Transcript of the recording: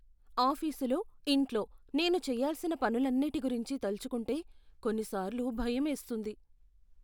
ఆఫీసులో, ఇంట్లో నేను చేయాల్సిన పనులన్నిటి గురించి తలచుకుంటే కొన్నిసార్లు భయమేస్తుంది.